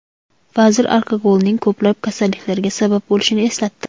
Vazir alkogolning ko‘plab kasalliklarga sabab bo‘lishini eslatdi.